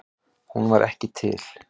Hún var ekki til.